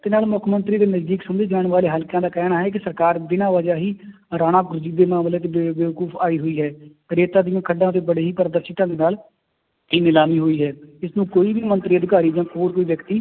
ਜਿੰਨਾਂ ਨੂੰ ਮੁੱਖ ਮੰਤਰੀ ਦੇ ਨਜ਼ਦੀਕ ਸਮਝੇ ਜਾਣ ਵਾਲੇ ਹਲਕਿਆਂ ਦਾ ਕਹਿਣਾ ਹੈ ਕਿ ਸਰਕਾਰ ਬਿਨਾਂ ਵਜ੍ਹਾ ਹੀ ਆਈ ਹੋਈ ਹੈ, ਰੇਤਾ ਦੀਆਂ ਖੱਡਾਂ ਚ ਬੜੀ ਹੀ ਦੇ ਨਾਲ ਇਹ ਨਿਲਾਮੀ ਹੋਈ ਹੈ, ਇਸਨੂੰ ਕੋਈ ਵੀ ਮੰਤਰੀ ਅਧਿਕਾਰੀ ਜਾਂ ਹੋਰ ਕੋਈ ਵਿਅਕਤੀ